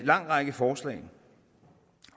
lang række forslag